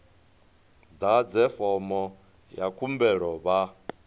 ḓadze fomo ya khumbelo vha